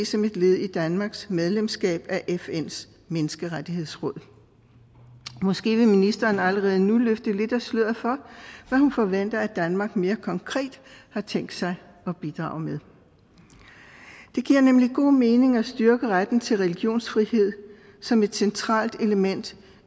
som et led i danmarks medlemskab af fns menneskerettighedsråd måske vil ministeren allerede nu løfte lidt af sløret for hvad hun forventer at danmark mere konkret har tænkt sig at bidrage med det giver nemlig god mening at styrke retten til religionsfrihed som et centralt element